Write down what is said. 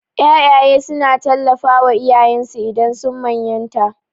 Ƴaƴaye suna tallafawa iyayensu idan sun manyanta.